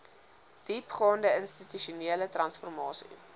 diepgaande institusionele transformasie